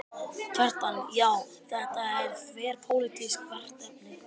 Kjartan: Já, þetta er þverpólitískt verkefni?